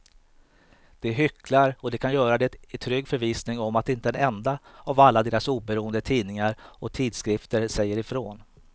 De hycklar och de kan göra det i trygg förvissning om att inte en enda av alla deras oberoende tidningar och tidskrifter säger ifrån.